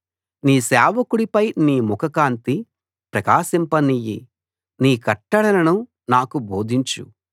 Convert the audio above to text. నీ సేవకుడి పై నీ ముఖకాంతి ప్రకాశింపనియ్యి నీ కట్టడలను నాకు బోధించు